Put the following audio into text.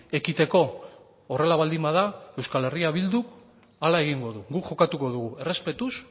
ekiteko horrela baldin bada eh bilduk hala egingo du guk jokatuko dugu errespetuz